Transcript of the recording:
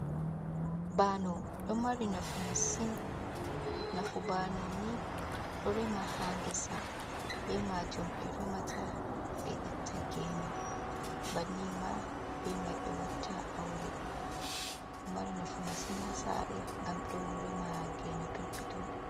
Baano, ɗo mari nafu masin, nafu baanoni ɗo rema ha ngesa, be majum be remata, be itta gene. banni ma ɓe watta aure ɗo mari nafu masin hasare ngam ɗo rema gene perpeton.